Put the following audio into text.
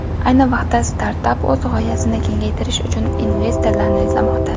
Ayni vaqtda startap o‘z g‘oyasini kengaytirish uchun investorlarni izlamoqda.